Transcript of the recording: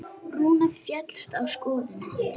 Rúna féllst á skoðun hans.